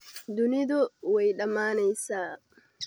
Dunidu way dhamaanaysaa